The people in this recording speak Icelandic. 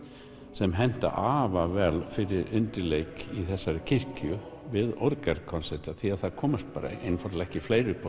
sem hentar afar vel fyrir undirleik í þessari kirkju við orgelkonserta því það komast einfaldlega ekki fleiri upp á